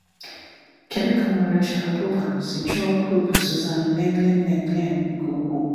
Kedu ka Maria Sharapova si chọọ Coupe Suzanne Lenglen Lenglen nke ukwuu?